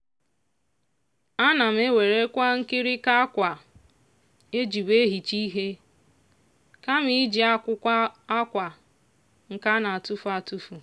ana m ewerekwa nkịrịnka akwa ejibu ehicha ihe kama iji akwụkwọ akwa nke a na-atụfụ atụfụ.